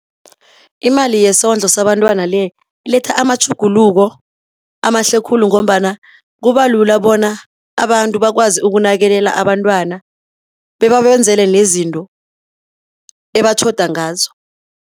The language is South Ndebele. Imali yesondlo sabantwana le, iletha amatjhuguluko amahle khulu ngombana kubalula bona abantu bakwazi ukunakelela abantwana, bebabenzele nezinto ebatjhoda ngazo.